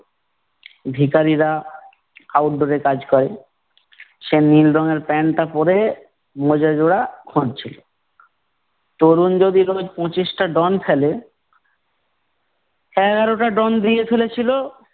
ভিকারীরা আউটডোরে কাজ করে। সে নীল রঙের প্যান্টটা পরে, মোজা জোড়া খুঁজ্জিল। তরুণ যদি পঁচিশটা ডন ফেলে, এগারোটা ডন ফেলেছিলো-